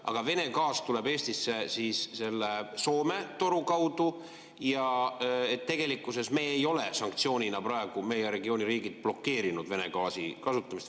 Aga Vene gaas tuleb Eestisse selle Soome toru kaudu ja tegelikkuses ei ole meie regiooni riigid sanktsioonina praegu blokeerinud Vene gaasi kasutamist.